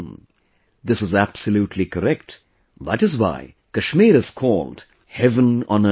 ' This is absolutely correct that is why Kashmir is called heaven on earth